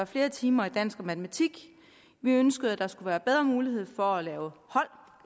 flere timer i dansk og matematik vi ønskede at der skulle være bedre mulighed for at lave hold